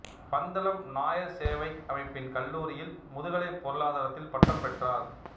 பந்தளம் நாயர் சேவை அமைப்பின் கல்லூரியில் முதுகலை பொருளாதாரத்தில் பட்டம் பெற்றார்